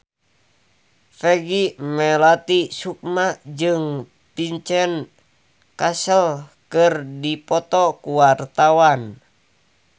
Peggy Melati Sukma jeung Vincent Cassel keur dipoto ku wartawan